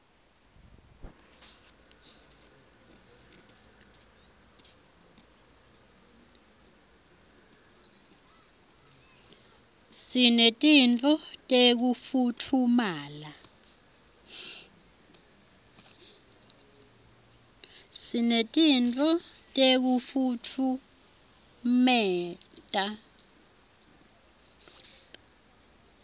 sinetinto tekufutfumata